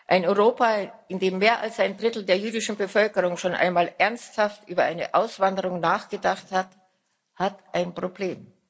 Ein Europa, in dem mehr als ein Drittel der jüdischen Bevölkerung schon einmal ernsthaft über eine Auswanderung nachgedacht hat, hat ein Problem.